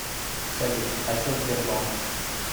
салют а че сбербанк